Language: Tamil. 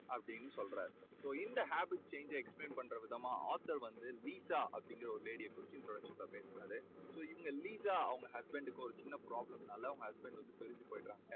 அப்படீன்னு சொல்றாரு. so இந்த habit change ஜ explain பண்ற விதமா author வந்து லீட்டா அப்பிடீங்கற ஒரு lady ய பேசறாறு. so இந்த லீசா அவங்க husband க்கு ஒரு சின்ன problem னால அவங்க husband பிரிஞ்சு போயிடறாங்க